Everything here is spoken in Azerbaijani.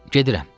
Gedirəm.